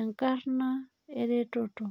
enkarna eretoto